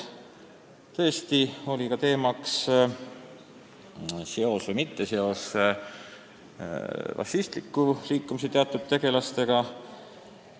Jutuks tuli ka vabadussõjalaste seos või mitteseos fašistliku liikumise teatud tegelastega.